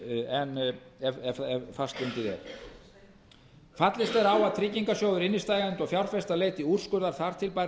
en fastbundið er fallist er á að tryggingarsjóður innstæðueigenda og fjárfesta leiti úrskurðar þar til bærra